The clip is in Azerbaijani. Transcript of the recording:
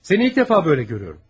Səni ilk dəfə belə görürəm.